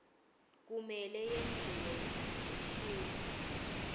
kumele yentiwe ngelusuku